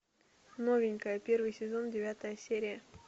новенькая первый сезон девятая серия